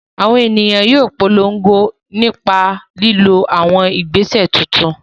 Àwọn ènìyàn yóò polongo nípa lílo àwọn ìgbésẹ̀ tuntun